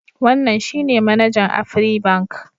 Wannan shi ne manajan Afribank.